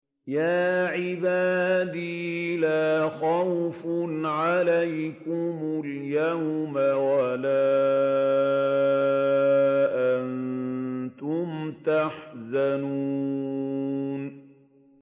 يَا عِبَادِ لَا خَوْفٌ عَلَيْكُمُ الْيَوْمَ وَلَا أَنتُمْ تَحْزَنُونَ